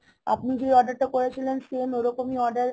আপনি যে order টা করেছিলেন same ওরকমই order